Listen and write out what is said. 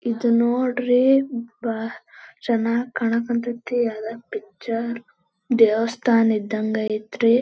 ಇದ್ ನೋಡ್ರಿ ಬಹ ಚೆನ್ನಾಗ್ ಕಾನಾಕ್ ಹಂತೈತಿ ಎಲ್ಲ ಪಿಕ್ಚರ್ ದೇವಸ್ಥಾನ ಇದ್ದಂಗ ಅಯ್ತ್ರ-